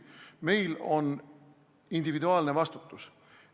Meil on individuaalne vastutus.